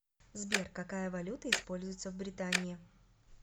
сбер какая валюта используется в британии